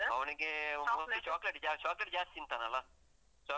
ಅವನಿಗೆ. mostly chocolate ಜಾಸ್ತಿ, chocolate ಜಾಸ್ತಿ ತಿಂತಾನಲ್ಲ? chocolate ಯೇ ಇರ್ಬೋದು.